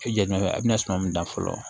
E jɛ a bɛna suman min da fɔlɔ